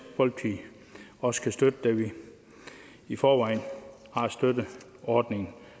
folkeparti også kan støtte da vi i forvejen har støttet ordningen